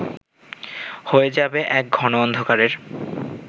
হয়ে যাবে এক ঘন অন্ধকারের